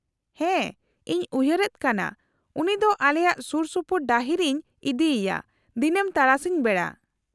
-ᱦᱮᱸ, ᱤᱧ ᱩᱭᱦᱟᱹᱨᱮᱫ ᱠᱟᱱᱟ ᱩᱱᱤ ᱫᱚ ᱟᱞᱮᱭᱟᱜ ᱥᱩᱨᱥᱩᱯᱩᱨ ᱰᱟᱹᱦᱤ ᱨᱮᱧ ᱤᱫᱤᱭᱮᱭᱟ ᱫᱤᱱᱟᱹᱢ ᱛᱟᱨᱟᱥᱤᱧ ᱵᱮᱲᱟ ᱾